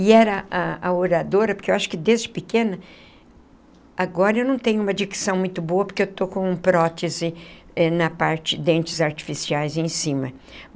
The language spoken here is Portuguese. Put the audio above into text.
E era a a oradora, porque eu acho que desde pequena... Agora eu não tenho uma dicção muito boa porque estou com prótese na parte dentes artificiais em cima.